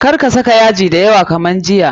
Kar ka saka yaji da yawa kamar jiya.